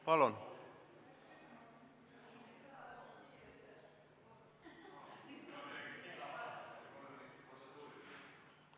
Palun!